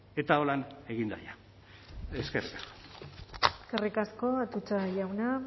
eta holan egin da ja eskerrik asko eskerrik asko atutxa jauna